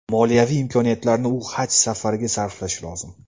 Moliyaviy imkoniyatlarini u Haj safariga sarflashi lozim.